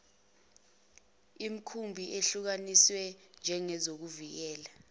imikhumbi ehlukaniswe njengezokuvikela